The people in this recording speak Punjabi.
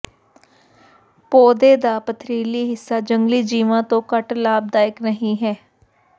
ਪੌਦੇ ਦਾ ਪਥਰੀਲੀ ਹਿੱਸਾ ਜੰਗਲੀ ਜੀਵਾਂ ਤੋਂ ਘੱਟ ਲਾਭਦਾਇਕ ਨਹੀਂ ਹੈ